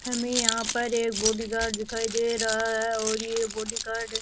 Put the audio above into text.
हमे यहां पर एक बॉडीगार्ड दिखाई दे रहा है और ये बॉडीगार्ड --